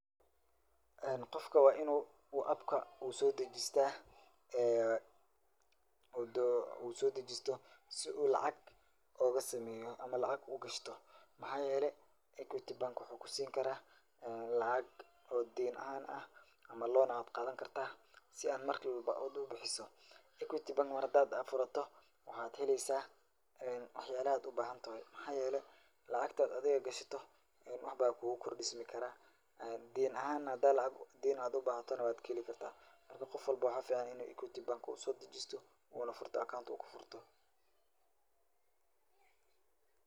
Qofka waa in uu appka uu soo dejista si uu lacag uga sameeyo ama lacag u gashto. Maxaa yeelay equity Bank waxuu ku siin karaa lacag oo deen ahaan ah ama loan ayaad qaadan kartaa si aad mar walba aad u bixiso.[cs[equty bank mar hadaa aad furato waxaad helaysaa waxyaala aad u bahantahay. Maxaa yeelay lacagta aad adiga gashato wax baa kuugu kordhismikara. Deen ahaana hadaad lacag deen aad ubahatana waad ka heli karta. Marka qof walbo waxaa ficaan in equity bank uu soo dejisto uuna furto account uu ku furto.